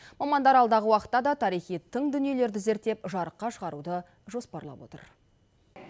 мамандар алдағы уақытта да тарихи тың дүниелерді зерттеп жарыққа шығаруды жоспарлап отыр